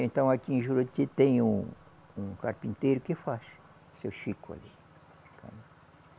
Então aqui em Juruti tem um um carpinteiro que faz, o seu Chico ali.